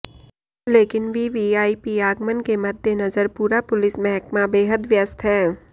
लेकिन वीवीआईपी आगमन के मद्देनजर पूरा पुलिस महकमा बेहद व्यस्त है